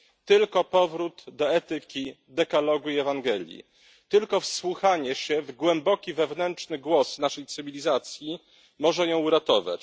Tylko powrót do etyki Dekalogu i Ewangelii, tylko wysłuchanie się w głęboki wewnętrzny głos naszej cywilizacji może ją uratować.